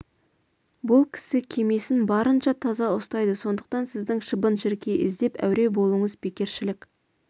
бұл кісі кемесін барынша таза ұстайды сондықтан сіздің шыбын-шіркей іздеп әуре болуыңыз бекершілік